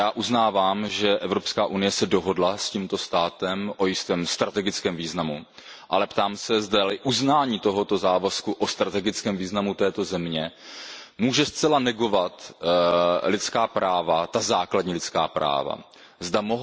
Já uznávám, že Evropská unie se dohodla s tímto státem na závazku o jistém strategickém významu, ale ptám se, zdali uznání tohoto závazku o strategickém významu této země může zcela negovat základní lidská práva, zda